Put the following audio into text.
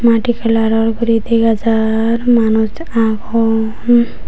madi kalaror guri dega jar manus agon.